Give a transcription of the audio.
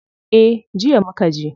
Eh, jiya mukaje.